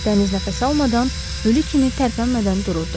Dəniz nəfəs almadan, ölü kimi tərpənmədən dururdu.